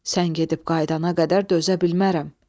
Sən gedib qayıdana qədər dözə bilmərəm.